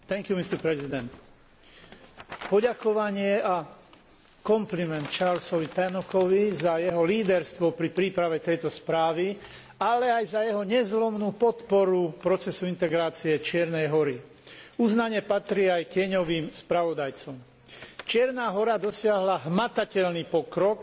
Poďakovanie a kompliment Charlesovi Tannockovi za jeho líderstvo pri príprave tejto správy, ale aj za jeho nezlomnú podporu v procese integrácie Čiernej Hory. Uznanie patrí aj tieňovým spravodajcom. Čierna Hora dosiahla hmatateľný pokrok v integračnej agende.